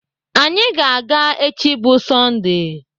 Anyị ga-aga echi bụ Sọndee.